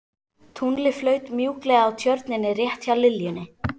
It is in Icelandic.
Tunglið flaut mjúklega á Tjörninni rétt hjá liljunni.